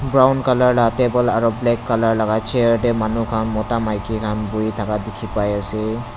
brown colour la table aro black colour laka chair tae manu khan mota maki khan buhi thaka dikhipaiase.